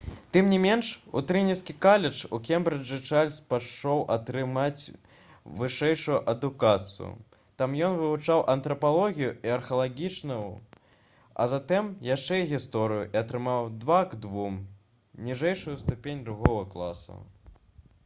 тым не менш у трыніці каледж у кембрыджы чарльз пайшоў атрымаць вышэйшую адукацыю. там ён вывучаў антрапалогію і археалогію а затым яшчэ і гісторыю і атрымаў 2:2 ніжэйшую ступень другога класа